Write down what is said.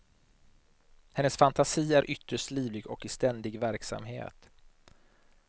Hennes fantasi är ytterst livlig och i ständig verksamhet.